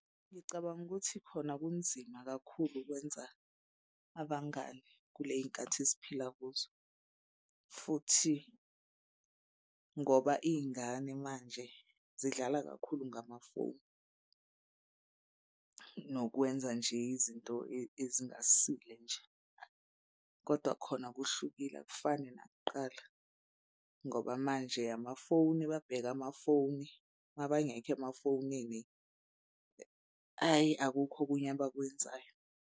Ngicabanga ukuthi khona kunzima kakhulu ukwenza abangani kuley'nkathi esiphila kuzo futhi ngoba iy'ngane manje zidlala kakhulu ngamafoni. Nokwenza nje izinto ezingasile nje kodwa khona kuhlukile akufani nakuqala ngoba manje amafoni babheke amafoni mabangekho emafonini, hhayi akukho okunye abakwenzayo.